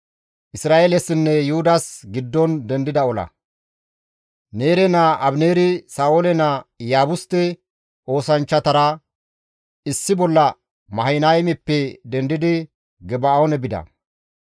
Neere naa Abineeri Sa7oole naa Iyaabuste oosanchchatara issi bolla Mahanaymeppe dendidi Geba7oone bida.